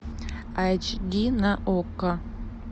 айч ди на окко